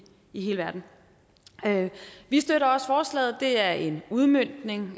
i hele verden vi støtter også forslaget det er en udmøntning